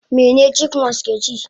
Mene chipmunks keci?